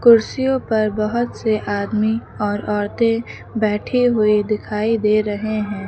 कुर्सियों पर बहोत से आदमी और औरतें बैठे हुए दिखाई दे रहे हैं।